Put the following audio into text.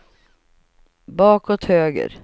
bakåt höger